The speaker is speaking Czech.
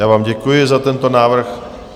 Já vám děkuji za tento návrh.